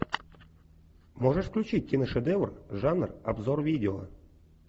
можешь включить киношедевр жанр обзор видео